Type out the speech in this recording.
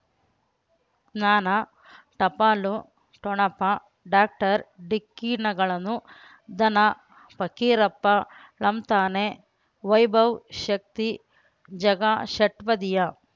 ಜ್ಞಾನ ಟಪಾಲು ಠೊಣಪ ಡಾಕ್ಟರ್ ಢಿಕ್ಕಿ ಣಗಳನು ಧನ ಪಕೀರಪ್ಪ ಳಂತಾನೆ ವೈಭವ್ ಶಕ್ತಿ ಝಗಾ ಷಟ್ಪದಿಯ